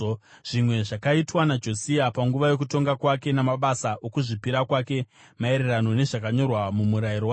Zvimwe zvakaitwa naJosia panguva yokutonga kwake, namabasa okuzvipira kwake maererano nezvakanyorwa mumurayiro waJehovha,